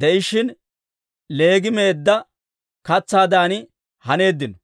de'ishshin, leegii meedda katsaadan haneeddino.